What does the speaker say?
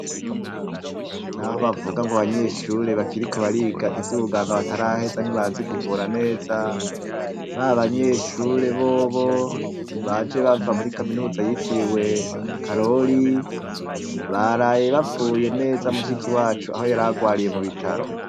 Naho bavuga ngo abanyeshure bakiriko bariga ivy'ubuganga bataraheza ntibazi kuvura neza, ba banyeshure bobo baje bava muri kaminuza yitiriwe Karori ,baraye bapfuye neza mushiki wacu aho yararwariye mu bitaro.